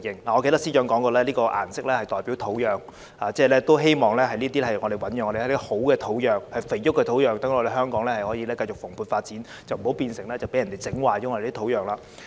我記得司長曾經表示這個顏色代表土壤，希望能夠醞釀一些良好的土壤、肥沃的土壤，讓香港可以繼續蓬勃發展，不要被人破壞我們的土壤。